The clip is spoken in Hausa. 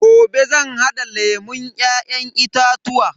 Gobe zan hada lemun Ya'yan itatuwa.